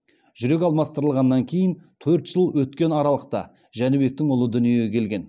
жүрек алмастырғаннан кейін төрт жыл өткен аралықта жәнібектің ұлы дүниеге келген